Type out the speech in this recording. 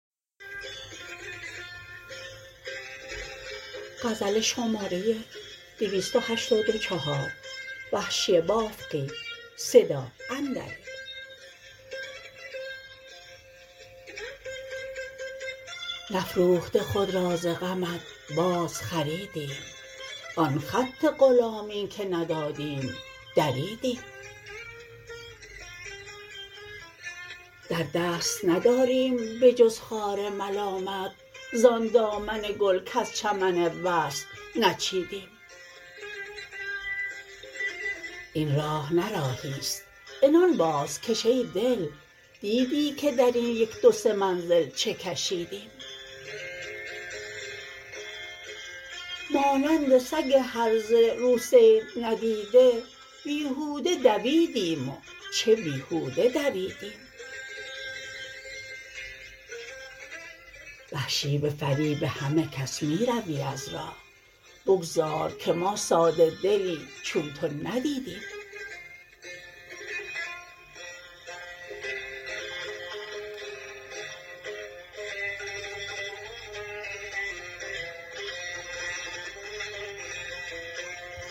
نفروخته خود را ز غمت باز خریدیم آن خط غلامی که ندادیم دریدیم در دست نداریم به جز خار ملامت زان دامن گل کز چمن وصل نچیدیم این راه نه راهیست عنان بازکش ای دل دیدی که درین یک دو سه منزل چه کشیدیم مانند سگ هرزه رو صید ندیده بیهوده دویدیم و چه بیهود دویدیم وحشی به فریب همه کس می روی از راه بگذار که ما ساده دلی چون تو ندیدیم